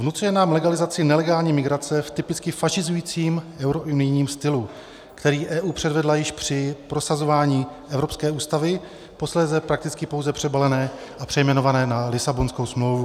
Vnucuje nám legalizaci nelegální migrace v typicky fašizujícím eurounijním stylu, který EU předvedla již při prosazování Evropské ústavy, posléze prakticky pouze přebalené a přejmenované na Lisabonskou smlouvu.